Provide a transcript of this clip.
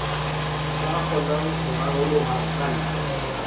ka kgonang ho raroloha kantle